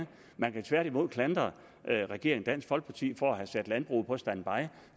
man kan tværtimod klandre regeringen og dansk folkeparti for at have sat landbruget på standby